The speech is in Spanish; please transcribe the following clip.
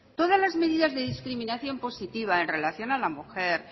todas las medidas de discriminación positiva en relación a la mujer